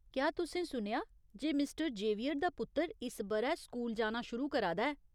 क्या तुसें सुनेआ जे मिस्टर जेवियर दा पुत्तर इस ब'रै स्कूल जाना शुरू करा दा ऐ ?